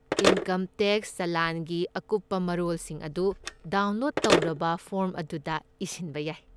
Income tax ꯆꯂꯥꯟꯒꯤ ꯑꯀꯨꯞꯄ ꯃꯔꯣꯜꯁꯤꯡ ꯑꯗꯨ ꯗꯥꯎꯟꯂꯣꯗ ꯇꯧꯔꯕ ꯐꯣꯔꯝ ꯑꯗꯨꯗ ꯏꯁꯤꯟꯕ ꯌꯥꯏ꯫